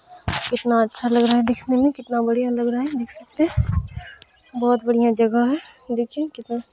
कितना अच्छा लग रहा है दिखने में | कितना बढ़िया लग रहा है देख सकते हैं | बहुत बढ़िया जगह है देखिए कितना---